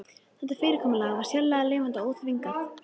Þetta fyrirkomulag var sérlega lifandi og óþvingað.